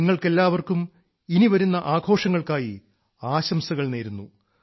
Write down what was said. നിങ്ങൾക്കെല്ലാവർക്കും ഇനി വരുന്ന ആഘോഷങ്ങൾക്കായി ആശംസകൾ നേരുന്നു